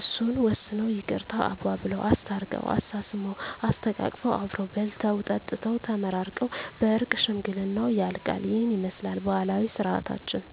እሱን ወስነው ይቅርታ አባብለው። አስታርቀው፤ አሳስመው፤ አሰተቃቅፈው አብረው በልተው ጠጥተው ተመራርቀው በእርቅ ሽምግልናው ያልቃ። ይህንን ይመስላል ባህላዊ ስርዓታችን።